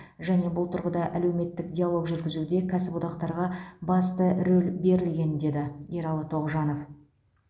және бұл тұрғыда әлеуметтік диалог жүргізуде кәсіподақтарға басты рөл берілген деді ералы тоғжанов